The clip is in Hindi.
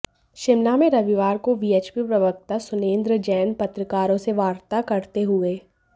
शिमला में रविवार को वीएचपी प्रवक्ता सुरेन्द्र जैन पत्रकारों से वार्ता करते हुए